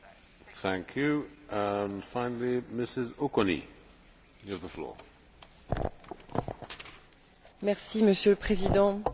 Monsieur le Président, chers collègues, trop longtemps, les Européens ont produit des déchets sans se soucier, ou si peu, de leur recyclage en fin de vie.